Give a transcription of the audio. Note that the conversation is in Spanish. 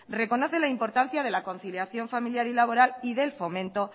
reconoce la importancia de la conciliación familiar y laboral y del fomento